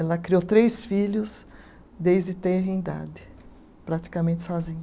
Ela criou três filhos desde tenra idade, praticamente sozinha.